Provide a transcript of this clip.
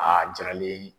A jiralen